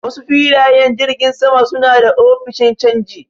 Wasu filayen jirgin saman suna da ofishin canji.